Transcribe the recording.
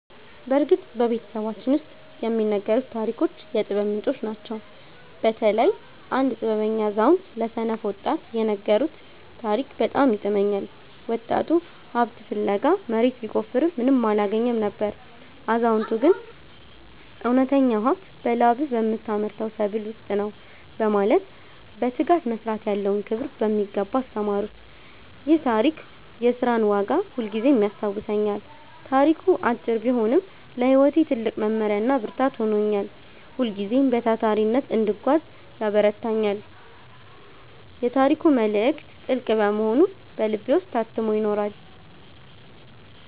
በእርግጥ በቤተሰባችን ውስጥ የሚነገሩት ታሪኮች የጥበብ ምንጮች ናቸው። በተለይ አንድ ጥበበኛ አዛውንት ለሰነፍ ወጣት የነገሩት ታሪክ በጣም ይጥመኛል። ወጣቱ ሀብት ፍለጋ መሬት ቢቆፍርም ምንም አላገኘም ነበር። አዛውንቱ ግን እውነተኛው ሀብት በላብህ በምታመርተው ሰብል ውስጥ ነው በማለት በትጋት መስራት ያለውን ክብር በሚገባ አስተማሩት። ይህ ታሪክ የሥራን ዋጋ ሁልጊዜም ያስታውሰኛል። ታሪኩ አጭር ቢሆንም ለሕይወቴ ትልቅ መመሪያና ብርታት ሆኖኛል። ሁልጊዜም በታታሪነት እንድጓዝ ያበረታታኛል። የታሪኩ መልእክት ጥልቅ በመሆኑ በልቤ ውስጥ ታትሞ ይኖራል።